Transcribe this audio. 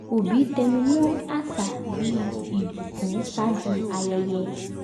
òbí tẹnumọ́ àṣà bí ìbùkún ṣáájú ayẹyẹ